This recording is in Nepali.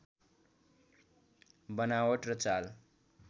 बनावट र चाल